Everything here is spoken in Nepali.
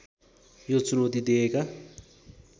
यो चुनौती दिएका